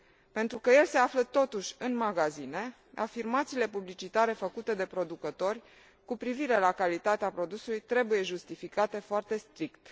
Pentru că el se află totuși în magazine, afirmațiile publicitare făcute de producători cu privire la calitatea produsului trebuie justificate foarte strict.